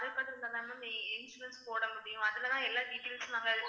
insurance போட முடியும் அதுலதான் எல்லா details ம் நாங்க